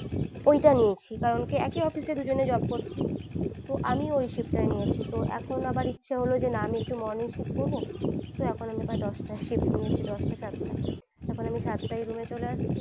ওই টা নিয়েছি কারণ কি একই office এ দুজনে job করছি তো আমিও ওই shift নিয়েছি তো এখন আবার ইচ্ছে হলো না আমি একটু morning shift করবো তো এখন আমি দশ টাই shift নিয়েছি দশ টা সাত এখন আমি সাত তাই room এ চলে আসছি।